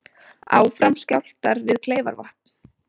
Áfram skjálftar við Kleifarvatn